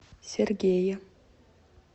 сергея